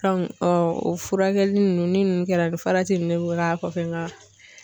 furakɛli ninnu ni ninnu kɛra a bɛ farati nunnu de kɛ k'a kɔfɛ nka